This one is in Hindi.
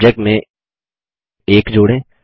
सब्जेक्ट में 1 जोड़ें